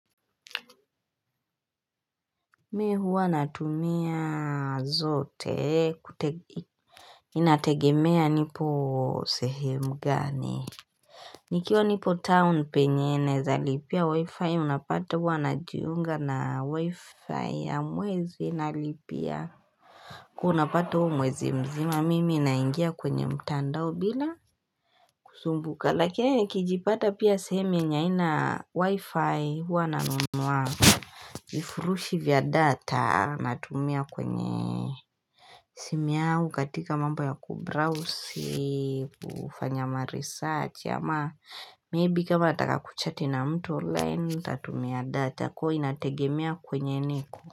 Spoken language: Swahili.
Mee huwa natumia zote kutege Inategemea nipo sehemu gani Nikiwa nipo town penyene za lipia wi-fi unapata huwa na juunga na wi-fi ya mwezi na lipia huwa unapata huo mwezi mzima mimi naingia kwenye mtandao bila kusumbuka lakia kijipata pia seheme aina wi-fi huwa nanunua Ifurushi vya data Natumia kwenye Simia ukatika mamba ya Kubrowse Ufanyama research ama Maybe kama ataka kuchati na mtu online tatumia data Kwa inategemea kwenye niko.